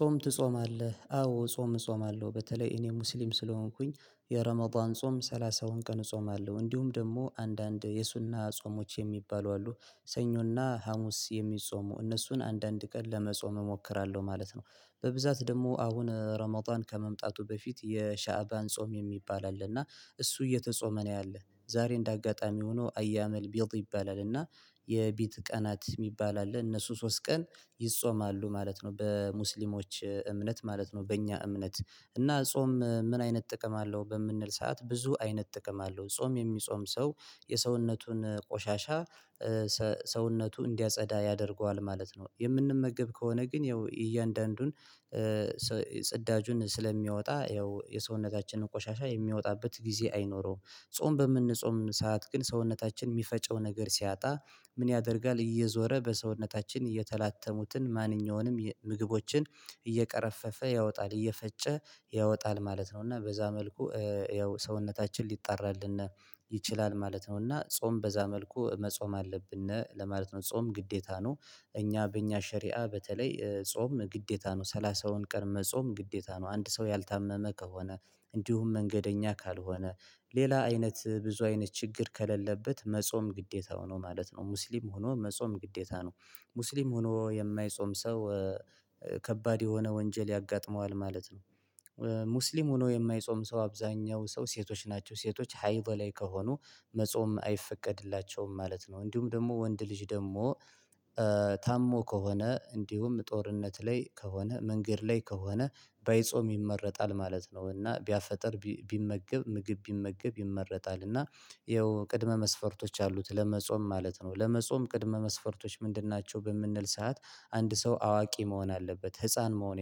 "ጾም ትጾማለህ?" አዎ ጾም እጾማለሁ። በተለይ እኔ ሙስሊም ስለሆንኩኝ የረመዷን ጾም ሰላሳውን ቀን እጾማለሁ፤ እንዲሁም ደግሞ አንዳንድ የሱና ጾሞች የሚባሉ አሉ ሰኞና ሀሙስ የሚጾሙ እነሱን አንዳንድ ቀን ለመጾም እሞክራለሁ ማለት ነው። በብዛት ደግሞ አሁን ረመዷን ከመምጣቱ በፊት የሻዕባን ጾም የሚባል አለ፤ እና እሱ እየተጾመ ነው ያለ። ዛሬ እንዳጋጣሚ ሆኖ አያመልቢድእ ይባላል፤ እና የቢት ቀናት የሚባል አለ እነሱ ሶስት ቀን ይጾማሉ ማለት ነው በሙስሊሞች እምነት ማለት ነው በእኛ እምነት፤ እና ጾም "ምን አይነት ጥቅም አለው?" በምንል ሰዓት ብዙ አይነት ጥቅም አለው። ጾም የሚጾም ሰው የሰውነቱን ቆሻሻ ሰ ሰውነቱ እንዲያጸዳ ያደርገዋል ማለት ነው። የምንመገብ ከሆነ ግን ያው እያንዳንዱን ጽዳጁን ስለሚያወጣ ያው የሰውነታችንን ቆሻሻ የሚያወጣበት ጊዜ አይኖረውም። ጾም በምንጾም ሰዓት ግን ሰውነታችን የሚፈጨው ነገር ሲያጣ ምን ያደርጋል እየዞረ በሰውነታችን እየተላተሙትን ማንኛውንም የ ምግቦችን እየቀረፈፈ ያወጣል እየፈጨ ያወጣል ማለት ነው፤ እና በዛ መልኩ ያው ሰውነታችን ሊጣራልን ይችላል ማለት ነው፤ እና ጾም በዛ መልኩ መጾም አለብን ለማለት ነው። ጾም ግዴታ ነው። እኛ በእኛ ሸሪአ በተለይ ጾም ግዴታ ነው። ሰላሳውን ቀን መጾም ግዴታ ነው። አንድ ሰው ያልታመመ ከሆነ እንዲሁም መንገደኛ ካልሆነ ሌላ አይነት ብዙ አይነት ችግር ከሌለበት መጾም ግዴታው ነው ማለት ነው። ሙስሊም ሆኖ መጾም ግዴታ ነው። ሙስሊም ሆኖ የማይጾም ሰው ከባድ የሆነ ወንጀል ያጋጥመዋል ማለት ነው። ሙስሊም ሆኖ የማይጾም ሰው አብዛሀኛው ሰው ሴቶች ናቸው። ሴቶች ሀይድ ላይ ከሆኑ መጾም አይፈቀድላቸውም ማለት ነው። እንዲሁም ደግሞ ወንድ ልጅ ደግሞ ታሞ ከሆነ፣ እንዲሁም ጦርነት ላይ ከሆነ፣ መንገድ ላይ ከሆነ፣ ባይጾም ይመረጣል ማለት ነው፤ እና ቢያፈጥር ቢመገብ ምግብ ቢመገብ ይመረጣል፤ እና ያው ቅድመ መስፈርቶች አሉት ለመጾም ማለት ነው። ለመጾም ቅድመ መስፈርቶች ምንድን ናቸው በምንል ሰዓት አንድ ሰው አዋቂ መሆን አለበት። ህፃን መሆን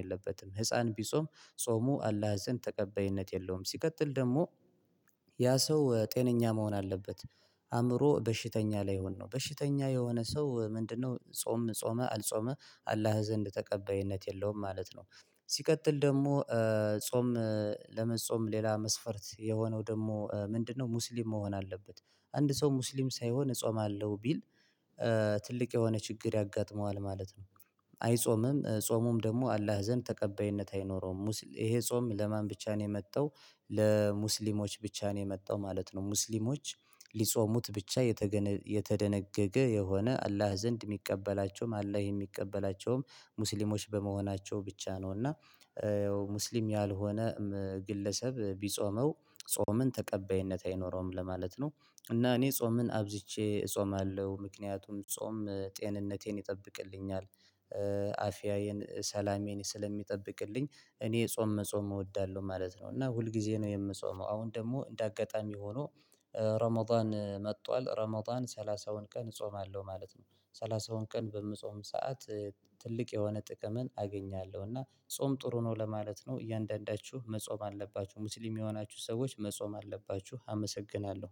የለበትም። ህፃን ቢጾም ጾሙ አላህ ዘንድ ተቀባይነት የለውም። ሲቀጥል ደግሞ ያ ሰው ጤነኛ መሆን አለበት። አእምሮ በሽተኛ ላይሁን ነው። በሽተኛ የሆነ ሰው ምንድነው ጾም ጾመ አልጾመ አላህ ዘንድ ተቀባይነት የለውም ማለት ነው። ሲቀጥል ደግሞ ጾም ለመጾም ሌላ መስፈርት የሆነው ደግሞ ምንድነው ሙስሊም መሆን አለበት። አንድ ሰው ሙስሊም ሳይሆን እጾማለሁ ቢል ትልቅ የሆነ ችግር ያጋጥመዋል ማለት ነው። አይጾምም ጾሙም ደግሞ አላህ ዘንድ ተቀባይነት አይኖረውም። ይሄ ጾም ለማን ብቻ ነው የመጣው ለሙስሊሞች ብቻ ነው የመጣው ማለት ነው። ሙስሊሞች ሊጾሙት ብቻ የተገነ የተደነገገ የሆነ አላህ ዘንድ የሚቀበላቸውም አላህ የሚቀበላቸውም ሙስሊሞች በመሆናቸው ብቻ ነው፤ እና ሙስሊም ያልሆነ ግለሰብ ቢጾመው ጾምን ተቀባይነት አይኖረውም ለማለት ነው፤ እና እኔ ጾምን አብዝቼ እጾማለሁ፤ ምክንያቱም ጾም ጤንነቴን ይጠብቅልኛል። አፊያዬን፣ ሰላሜን ስለሚጠብቅልኝ እኔ ጾም መጾም እወዳለሁ ማለት ነው፤ እና ሁል ጊዜ ነው የምጾመው አሁን ደግሞ እንደ አጋጣሚ ሆኖ ረመዷን መጥቷል ረመዷን ሰላሳውን ቀን እጾማለሁ ማለት ነው። ሰላሳውን ቀን በምጾም ሰዓት ትልቅ የሆነ ጥቅምን አገኛለሁ፤ እና ጾም ጥሩ ነው ለማለት ነው እያንዳንዳችሁ መጾም አለባችሁ። ሙስሊም የሆናችሁ ሰዎች መጾም አለባችሁ አመሰግናለሁ።